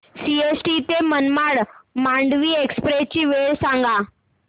CST ते Madgaon Mandovi express ची वेळ सांगा